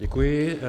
Děkuji.